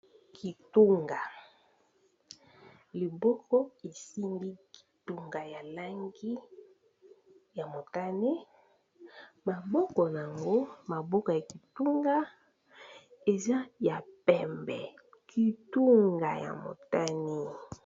Kitunga liboko esimbi kitunga ya langi ya motane maboko na yango maboko ya kitunga eza ya pembe kitunga ya motane.